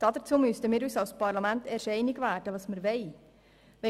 Dazu müssen wir uns als Parlament erst einig werden, was wir wollen.